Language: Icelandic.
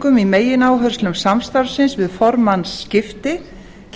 kúvendingum í megináherslum samstarfsins við formannsskipti